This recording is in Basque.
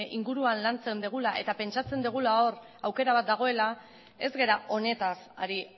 inguruan lantzen dugula eta pentsatzen dugula hor aukera bat dagoela ez gara honetaz ari